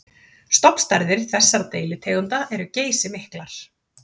Stofnstærðir þessara deilitegunda eru geysimiklar.